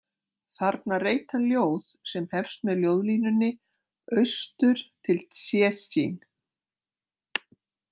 Þarna reit hann ljóð sem hefst með ljóðlínunni „Austur til Tsésjíh“.